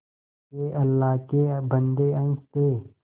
के अल्लाह के बन्दे हंस दे